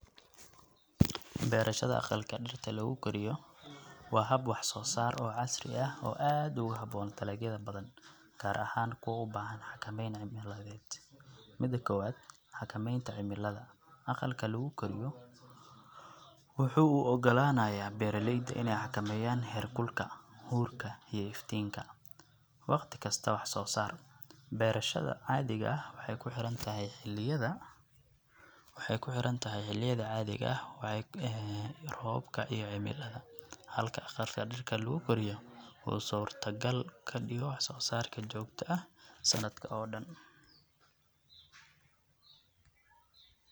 Beerashada aqalka dhirta lagu koriyo waa hab wax soosaar oo casri ah oo aad ugu haboon dalagyada badan ,gaar ahaan kuwa ubaahan xakameyn cimiladeed .Mida kowaad xakameynta cimilada ,aqalka lagu koriyo waxuu u ogolanaya beeralayda ineey xakameyaan heerkulka, huurka iyo iftiinka ,waqti kasta wax soo saar. Beerasgada caadiga ah waxeey kuxiran tahay xiliyada ,waxeey kuxiran tahay xiliyada caadiga ah. roobabka iyo cimilada halka aqalka dhirta lagu koriyo uu surta gal kadhigo wax soo saarka joogta ah sanadka oo dhan .